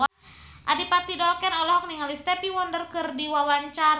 Adipati Dolken olohok ningali Stevie Wonder keur diwawancara